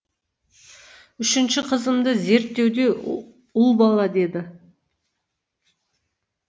үшінші қызымды зерттеуде ұл бала деді